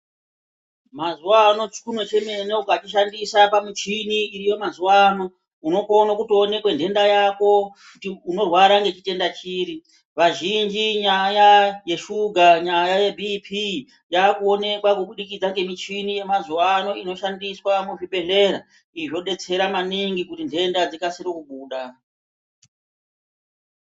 Mazuwa anaa chikunwe chemene ukachishandisa pamuchini iriyo mazuwa ano unokone kutooneke nhenda yako, kuti unorwara ngechitenda chiri. Vazhinji nyaya yeshuga nyaya yeBP yakuoneka kubudikidzwa ngemichini yemazuwa ano inoshandiswa muzvibhedhlera izvi zvodetsera maningi kuti nhenda dzikasire kubuda.